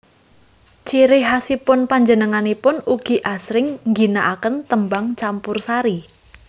Ciri khasipun panjenenganipun ugi asring ngginaaken tembang campursari